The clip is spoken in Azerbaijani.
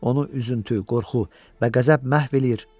Onu üzüntü, qorxu və qəzəb məhv eləyir.